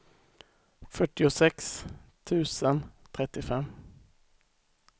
fyrtiosex tusen trettiofem